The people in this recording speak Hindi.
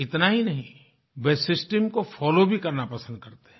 इतना ही नहीं वे सिस्टम को फोलो भी करना पसंद करते हैं